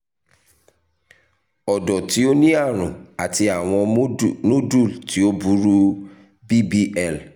ọdọ ti o ni arun ati awọn nodule ti o o buru bbl